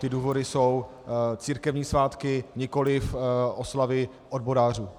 Ty důvody jsou církevní svátky, nikoliv oslavy odborářů.